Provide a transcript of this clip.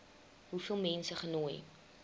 hoeveel mense genooi